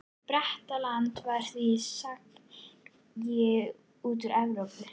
Bretland var því skagi út úr Evrópu.